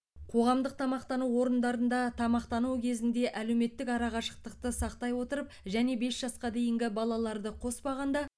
қоғамдық тамақтану орындарында тамақтану кезінде әлеуметтік арақашықтықты сақтай отырып және бес жасқа дейінгі балаларды коспағанда